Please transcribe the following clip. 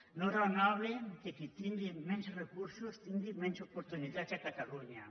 no és raonable que qui tingui menys recursos tingui menys oportunitats a catalunya